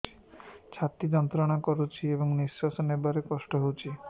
ଛାତି ଯନ୍ତ୍ରଣା କରୁଛି ଏବଂ ନିଶ୍ୱାସ ନେବାରେ କଷ୍ଟ ହେଉଛି